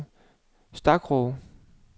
Stakroge